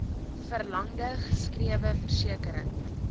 verlangde geskrewe versekering